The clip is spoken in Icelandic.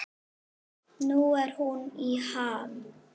Nú er hún í ham.